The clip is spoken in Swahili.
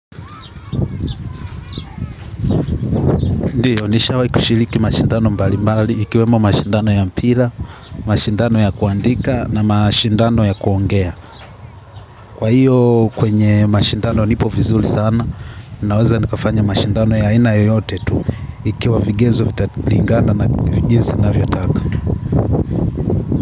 Ndiyo, nishawahi kushiriki mashindano mbali mbali, ikiwemo mashindano ya mpira, mashindano ya kuandika na mashindano ya kuongea. Kwa hiyo, kwenye mashindano nipo vizuri sana, ninaweza nikafanya mashindano ya aina yoyote tu, ikiwa vigezo vitalingana na jinsi ninavyo taka.